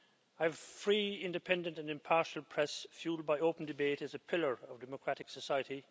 A free, independent and impartial press fuelled by open debate is a pillar of democratic society.